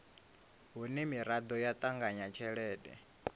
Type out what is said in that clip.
hune miraḓo ya ṱanganya tshelede